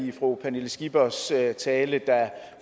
i fru pernille skippers tale der